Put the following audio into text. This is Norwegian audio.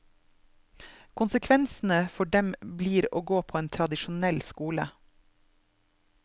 Konsekvensene for dem blir å gå på en tradisjonell skole.